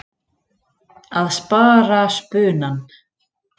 Að spara spunann.